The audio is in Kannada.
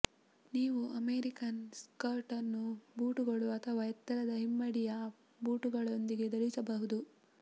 ನೀವು ಅಮೆರಿಕನ್ ಸ್ಕರ್ಟ್ ಅನ್ನು ಬೂಟುಗಳು ಅಥವಾ ಎತ್ತರದ ಹಿಮ್ಮಡಿಯ ಬೂಟುಗಳೊಂದಿಗೆ ಧರಿಸಬಹುದು